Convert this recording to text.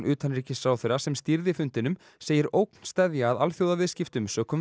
utanríkisráðherra sem stýrði fundinum segir ógn steðja að alþjóðaviðskiptum sökum